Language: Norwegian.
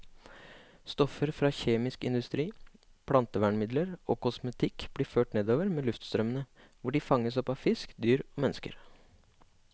Stoffer fra kjemisk industri, plantevernmidler og kosmetikk blir ført nordover med luftstrømmene, hvor de fanges opp av fisk, dyr og mennesker.